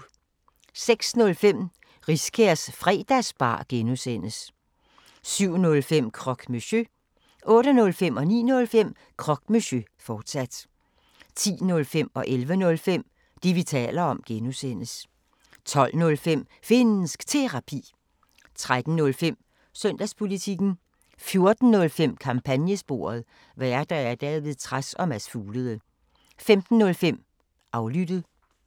06:05: Riskærs Fredagsbar (G) 07:05: Croque Monsieur 08:05: Croque Monsieur, fortsat 09:05: Croque Monsieur, fortsat 10:05: Det, vi taler om (G) 11:05: Det, vi taler om (G) 12:05: Finnsk Terapi 13:05: Søndagspolitikken 14:05: Kampagnesporet: Værter: David Trads og Mads Fuglede 15:05: Aflyttet